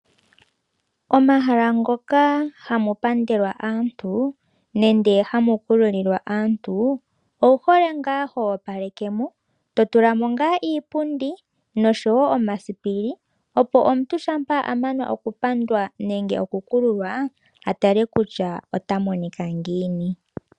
Omahala ngoka hamu pandelwa aantu nende hamu kulu lilwa aantu owu hole ngaa ho opaleke mo. To tulamo ngaa iipundi noshowo omasipili opo omuntu shampa a mana oku pandwa nenge oku kululwa atale kutua ota monika ngiini.